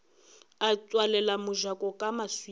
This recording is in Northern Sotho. a tswalela mojako ka maswika